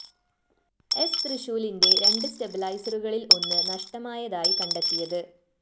സ്‌ തൃശൂലിന്റെ രണ്ട് സ്റ്റെബിലൈസറുകളില്‍ ഒന്ന് നഷ്ടമായതായി കണ്ടെത്തിയത്